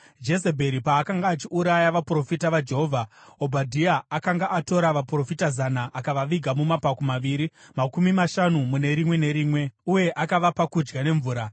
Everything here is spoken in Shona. Jezebheri paakanga achiuraya vaprofita vaJehovha, Obhadhia akanga atora vaprofita zana akavaviga mumapako maviri, makumi mashanu mune rimwe nerimwe. Uye akavapa kudya nemvura.)